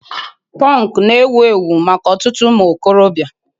Punk na-ewu ewu maka ọtụtụ ụmụ okorobịa